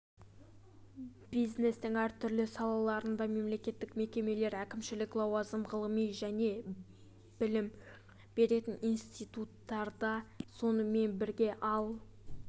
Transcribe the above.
бизнестң әр түрлі салаларында мемлекеттік мекемелер әкімшілік лауазым ғылыми және білім беретін институттарда сонымен бірге ал